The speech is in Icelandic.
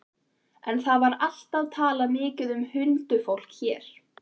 En það var alltaf talað mikið um huldufólk hér.